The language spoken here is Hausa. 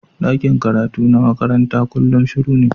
Dakin karatu na makaranta kullum shiru ne.